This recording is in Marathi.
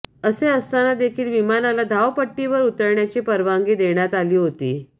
असे असताना देखील विमानाला धावपट्टीवर उतरण्याची परवानगी देण्यात आली होती